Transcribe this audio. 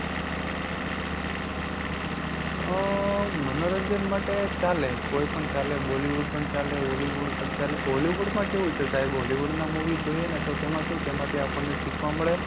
અ મનોરંજન માટે ચાલે કોઈ પણ ચાલે bollywood પણ ચાલે, hollywood પણ ચાલે. hollywood માં કેવું છે સાહેબ hollywood ના movie જોઈએ ને તો તેમાં શું તેમાંથી આપણને શીખવા મળે.